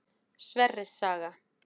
Sverris saga.